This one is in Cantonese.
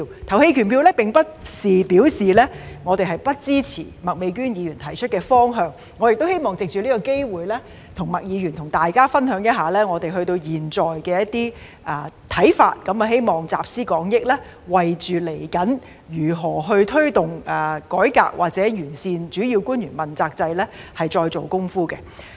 這並不表示我們不支持麥美娟議員提出的方向，我亦希望藉此機會與麥議員和大家分享一下我們至今的一些看法，希望集思廣益，為探討未來如何推動改革或完善主要官員問責制再做工夫。